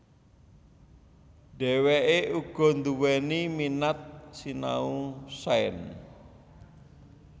Dheweke uga duwéni minat sinau sains